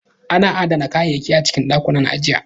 Ana adana kayayyaki a cikin ɗakunan ajiya